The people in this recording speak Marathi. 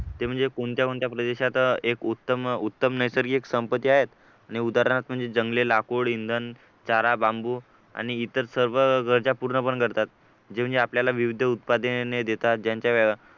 ते म्हणजे कोणत्या कोणत्या देशात प्रदेशात एक उत्तम नैसर्गिक संपत्ती आहे आणि उदाहरणार्थ म्हणजे जंगली लाकूड इंधन चारा बांबू आणि इतर सर्व गरजा पूर्ण पण करतात जे म्हणजे आपल्याला विविध उत्पादने देतात ज्यांच्या